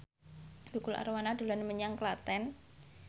Tukul Arwana dolan menyang Klaten